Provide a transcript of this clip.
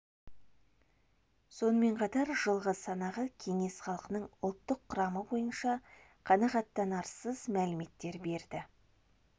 сонымен қатар жылғы халық санағы кеңес халқының ұлттық құрамы бойынша қанағаттанарсыз мәліметтер берді